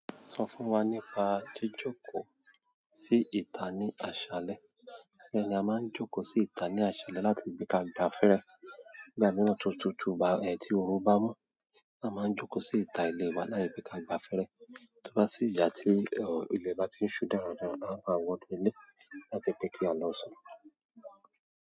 Sọ fún wa nípa jíjókòó sí ìta ní àṣálẹ́. Bẹ́ẹ̀ ni a máa ń jókòó sí ìta ní àṣálẹ́ láti gbé ka gba afẹ́rẹ́. Ìgbà mìíràn tó tútù ba ẹ tí oru bá mọ́, a máa ń jókòó sí ìta ilé wa láti gbé ka gba afẹ́rẹ́. Tí ó bá sì yà tí ọ̀ ilẹ̀ bá ti ń ṣú dáradára, a máa wọnú ilé láti pe kí a lọ sùn.